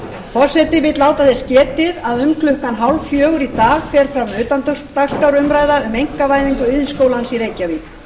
forseti vill láta þess getið að um klukkan þrjú þrjátíu í dag fer fram utandagskrárumræða um einkavæðingu iðnskólans í reykjavík